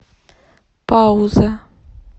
пауза